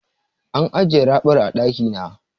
An ajiye raɓar a ɗaki na.